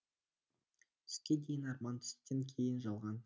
түске дейін арман түстен кейін жалған